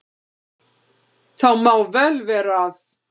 Það má vel vera að